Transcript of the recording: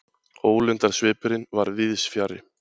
Ólundarsvipurinn var víðs fjarri.